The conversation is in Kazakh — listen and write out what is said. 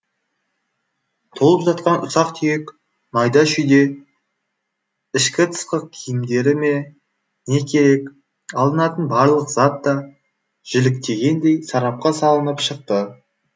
толып жатқан ұсақ түйек майда шүйде ішкі тысқы киімдері ме не керек алынатын барлық зат та жіліктегендей сарапқа салынып шықты